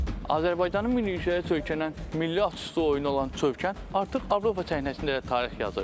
Azərbaycanın milli yüyürüşə söykənən, milli atüstü oyunu olan Çövkən artıq Avropa çempionatında da tarix yazır.